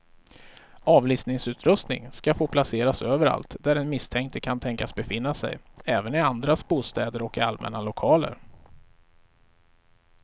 Avlyssningsutrustning ska få placeras överallt där den misstänkte kan tänkas befinna sig, även i andras bostäder och i allmänna lokaler.